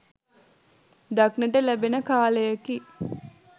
දක්නට ලැබෙන කාලයකි.